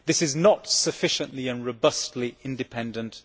This is not sufficiently and robustly independent.